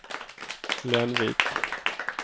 Lenvik